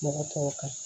Mɔgɔ tɔw kan